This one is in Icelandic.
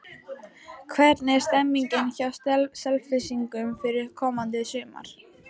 Hvernig er stemmingin hjá Selfyssingum fyrir komandi sumar?